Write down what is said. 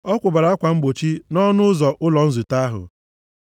Ọ kwụbara akwa mgbochi nʼọnụ ụzọ ụlọ nzute ahụ.